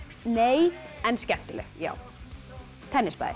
nei en skemmtileg já